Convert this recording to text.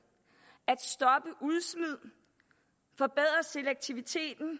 at stoppe udsmid forbedret selektivitet at